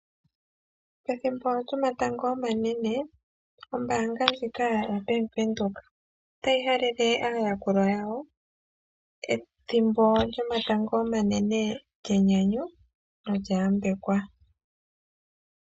Pethimbo lyomatango omanene ombanga ndjika yaVenduka otayi halele aayakulwa yawo ethimbo lyomatango omanene lyenyanyu lyo olya yambekwa.